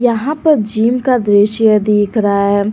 यहां पर जिम का दृश्य दिख रहा है।